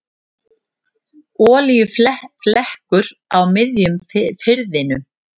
Olíuflekkur á miðjum firðinum